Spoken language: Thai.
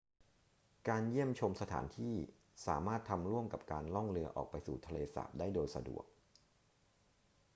การเยี่ยมชมสถานที่สามารถทำร่วมกับการล่องเรือออกไปสู่ทะเลสาบได้โดยสะดวก